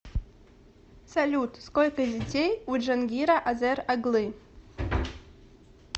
салют сколько детей у джангира азер оглы